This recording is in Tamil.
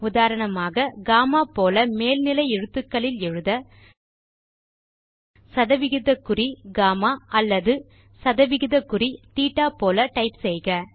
உதாரணமாக கம்மா போல மேல் நிலை எழுத்துக்களில் எழுத160GAMMA அல்லது160THETAபோல டைப் செய்க